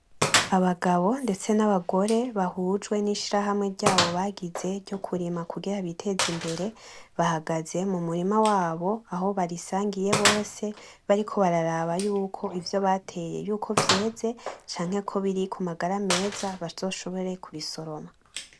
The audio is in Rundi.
Abagabo ndetse n'abagore bahujwe n'ishirahamwe ryabo bagize ryo kurima kugira biteze imbere, bahagaze mu murima wabo aho barisangiye bose, bariko bararaba yuko ivyo bateye yuko vyeze canke ko biri ku magara meza bazoshobore kubisoroma.